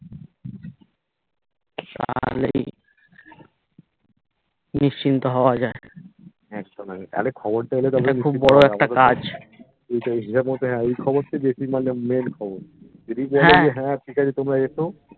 তালেই নিশ্চিন্ত হওয়া যায় অরে খবরটা এলে তবে এটা খুব বোরো একটা কাজ এইটা হিসাব মতো হ্যা এই খবরটাই বেশি মানে main খবর যদি বলে যে হ্যা ঠিকাছে তোমরা এসো